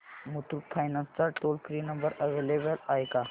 Muthoot finance चा toll free number available आहे का